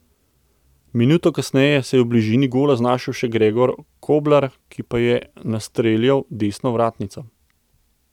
Minuto kasneje se je v bližini gola znašel še Gregor Koblar, ki pa je nastreljal desno vratnico.